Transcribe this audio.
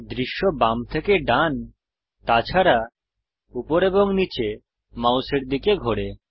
দৃশ্য বাম থেকে ডান তাছাড়া উপর এবং নীচে মাউসের দিকে ঘোরে